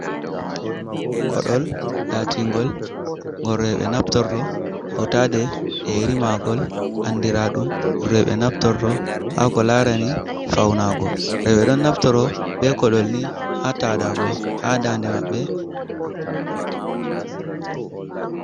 Koɗol latingol gor roɓe naftorto, hautade yerimagol andira ɗum roɓe naftorto ha ko larani faunago, roɓe ɗon naftoro be koɗol ni ha taɗago ha dande maɓɓe.